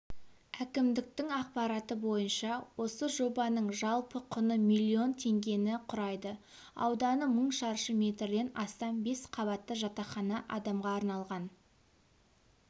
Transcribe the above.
әкімдіктің ақпараты бойынша осы жобаның жалпы құны миллион теңгені құрайды ауданы мың шаршы метрден астам бес қабатты жатақхана адамға арналған